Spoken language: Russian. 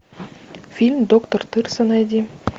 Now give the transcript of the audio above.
фильм доктор тырса найди